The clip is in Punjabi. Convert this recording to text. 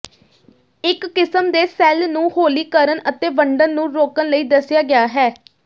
ਇਕ ਕਿਸਮ ਦੇ ਸੈੱਲ ਨੂੰ ਹੌਲੀ ਕਰਨ ਅਤੇ ਵੰਡਣ ਨੂੰ ਰੋਕਣ ਲਈ ਦੱਸਿਆ ਗਿਆ ਹੈ